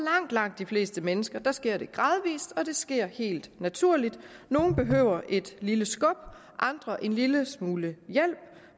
langt de fleste mennesker sker det gradvist og det sker helt naturligt nogle behøver et lille skub andre en lille smule hjælp